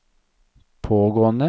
pågående